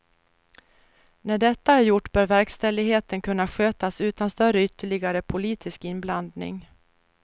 När detta är gjort bör verkställigheten kunna skötas utan större ytterligare politisk inblandning.